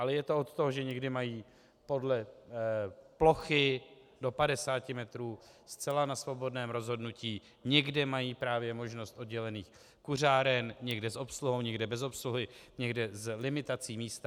Ale je to od toho, že někde mají podle plochy do 50 metrů zcela na svobodném rozhodnutí, někde mají právě možnost oddělených kuřáren, někde s obsluhou, někde bez obsluhy, někde s limitací místa.